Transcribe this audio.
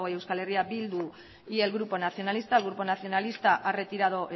euskal herria bildu y el grupo nacionalista el grupo nacionalista ha retirado